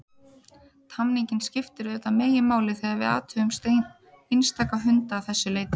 Tamningin skiptir auðvitað meginmáli þegar við athugum einstaka hunda að þessu leyti.